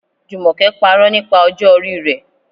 Jumoke parọ́ nípa ọjọ́ orí rẹ̀.